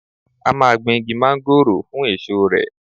A máa gbìn Igi Mángóròò fún èso rè.